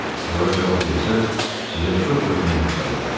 Onlara cavab versəniz, sizə çox-çox minnətdar olaram.